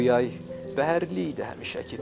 Bu yay bəhərli idi həmişəki tək.